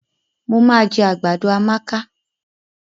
Mo ma jẹ àgbàdo Amaka.